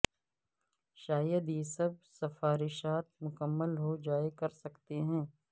شاید یہ سب سفارشات مکمل ہو جائے کر سکتے ہیں